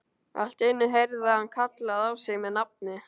Allt í einu heyrði hann kallað á sig með nafni.